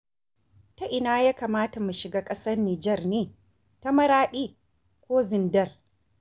Ta ina ya kamata mu shiga ƙasar Nijar ne? ta Maraɗi ko Zindar.